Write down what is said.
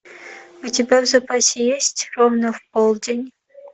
у тебя в запасе есть ровно в полдень